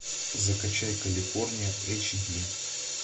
закачай калифорния эйч ди